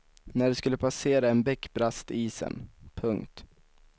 När de skulle passera en bäck brast isen. punkt